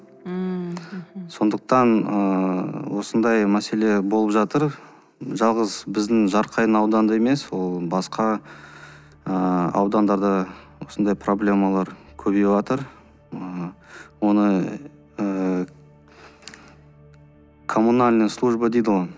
ммм мхм сондықтан ыыы осындай мәселе болып жатыр жалғыз біздің жарқайың ауданында емес ол басқа ыыы аудандарда да осындай проблемалар көбейіватыр ыыы оны ы комунальная служба дейді ғой